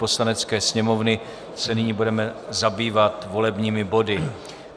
Poslanecké sněmovny se nyní budeme zabývat volebními body.